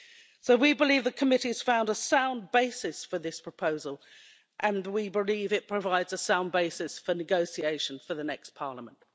So we believe the committee has found a sound basis for this proposal, and we believe it provides a sound basis for negotiation for the next Parliament.